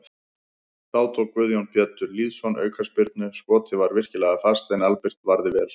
Þá tók Guðjón Pétur Lýðsson aukaspyrnu, skotið var virkilega fast en Albert varði vel.